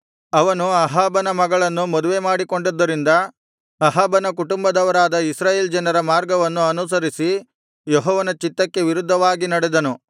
ಅವನು ಅಹಾಬನ ಮಗಳನ್ನು ಮದುವೆಮಾಡಿಕೊಂಡದ್ದರಿಂದ ಅಹಾಬನ ಕುಟುಂಬದವರಾದ ಇಸ್ರಾಯೇಲ್ ರಾಜರ ಮಾರ್ಗವನ್ನು ಅನುಸರಿಸಿ ಯೆಹೋವನ ಚಿತ್ತಕ್ಕೆ ವಿರುದ್ಧವಾಗಿ ನಡೆದನು